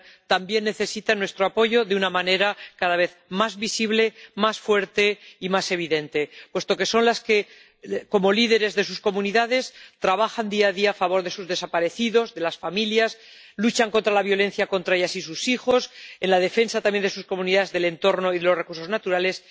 también necesitan nuestro apoyo de una manera cada vez más visible, más fuerte y más evidente, puesto que son las que, como líderes de sus comunidades, trabajan día a día a favor de sus desaparecidos, de las familias, luchan contra la violencia contra ellas y sus hijos, en la defensa también de sus comunidades, del entorno y de los recursos naturales.